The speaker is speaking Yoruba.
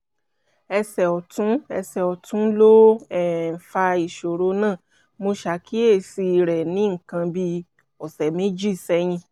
ẹsẹ̀ ọ̀tún ẹsẹ̀ ọ̀tún ló um fa ìṣòro náà; mo ṣàkíyèsí rẹ̀ ní nǹkan bí ọ̀sẹ̀ méjì sẹ́yìn